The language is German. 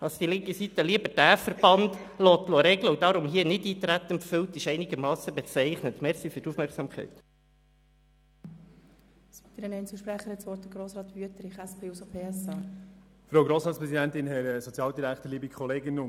Dass die linke Seite lieber diesen Verband die Regeln machen lassen will und darum hier Nichteintreten empfiehlt, ist einigermassen bezeichnend.